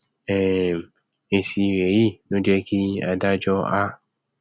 um èsì rẹ yìí ló jẹ kí adájọ á